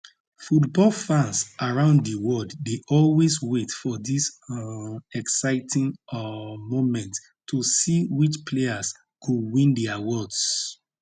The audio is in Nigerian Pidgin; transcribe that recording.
football fans around di world dey always wait for dis um exciting um moment to see which players go win di awards